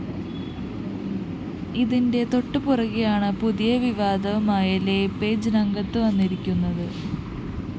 ഇതിന്റെ തൊട്ടുപുറകേയാണ് പുതിയ വിവാദവുമായി ലേപേജ് രംഗത്ത് വന്നിരിക്കുന്നത്